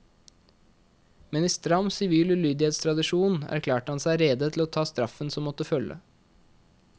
Men i stram sivil ulydighetstradisjon erklærte han seg rede til å ta straffen som måtte følge.